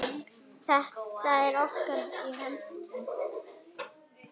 Þetta er í okkar höndum.